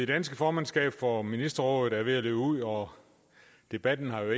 dansk formandskab for ministerrådet er ved at løbe ud og debatten har